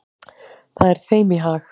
Það er þeim í hag.